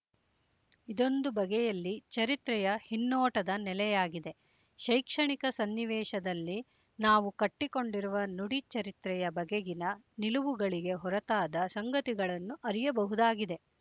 ಇದೊಂದು ಬಗೆಯಲ್ಲಿ ಚರಿತ್ರೆಯ ಹಿನ್ನೋಟದ ನೆಲೆಯಾಗಿದೆ ಶೈಕ್ಷಣಿಕ ಸನ್ನಿವೇಶದಲ್ಲಿ ನಾವು ಕಟ್ಟಿಕೊಂಡಿರುವ ನುಡಿ ಚರಿತ್ರೆಯ ಬಗೆಗಿನ ನಿಲುವುಗಳಿಗೆ ಹೊರತಾದ ಸಂಗತಿಗಳನ್ನು ಅರಿಯಬಹುದಾಗಿದೆ